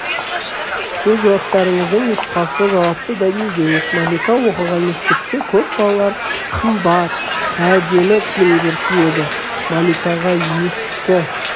өз жауаптарыңыздың нұсқасы жауапты дәлелдеңіз малика оқыған мектепте көп балалар қымбат әдемі киімдер киеді маликаға ескі